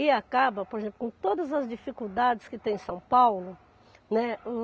E acaba, por exemplo, com todas as dificuldades que tem São Paulo, né?